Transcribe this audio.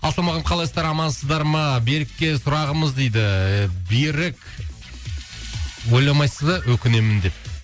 ассалаумағалейкум қалайсыздар амансыздар ма берікке сұрағымыз дейді берік ойламайсыз ба өкінемін деп